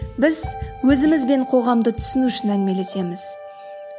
біз өзімізбен қоғамды түсіну үшін әңгімелесеміз